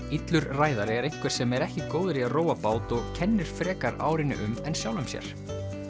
illur ræðari er einhver sem er ekki góður í að róa bát og kennir frekar árinni um en sjálfum sér